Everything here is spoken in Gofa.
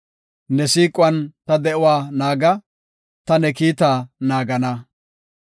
Ne siiquwan ta de7uwa naaga; ta ne kiitaa naagana.